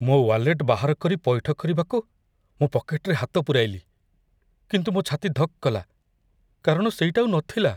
ମୋ ୱାଲେଟ୍ ବାହାର କରି ପଇଠ କରିବାକୁ ମୁଁ ପକେଟରେ ହାତ ପୂରାଇଲି। କିନ୍ତୁ, ମୋ ଛାତି ଧକ୍ କଲା, କାରଣ ସେଇଟା ଆଉ ନଥିଲା!